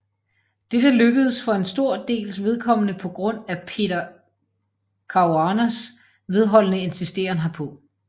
Dette lykkedes for en stor dels vedkommende på grund af Peter Caruanas vedholdende insisteren herpå